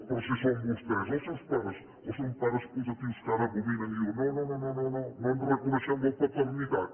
però si són vostès els seus pares o són pares putatius que ara abominen i diuen no no no no en reconeixem la paternitat